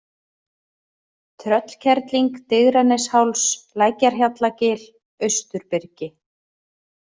Tröllkerling, Digranesháls, Lækjarhjallagil, Austurbyrgi